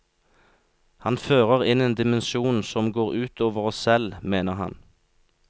Han fører inn en dimensjon som går ut over oss selv, mener han.